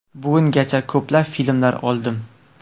Bugungacha ko‘plab filmlar oldim.